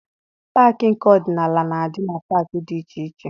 Paakị nke ọdịnala na-adị na paakị dị iche iche.